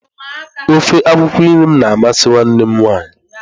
Ofe akwụkwọ nri m na amasị nwanne m nwaanyị